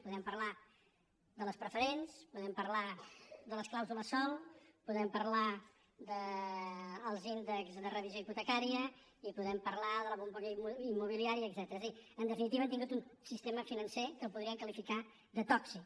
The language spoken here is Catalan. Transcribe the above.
podem parlar de les preferents podem parlar de les clàusules sòl podem parlar dels índexs de revisió hipotecària i podem parlar de la bombolla immobiliària etcètera és a dir en definitiva hem tingut un sistema financer que podríem qualificar de tòxic